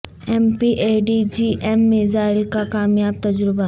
M P A T G M missile کا کامیاب تجربہ